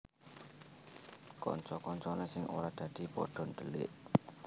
Kanca kancane sing ora dadi pada dhelik